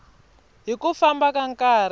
hi ku famba ka nkarhi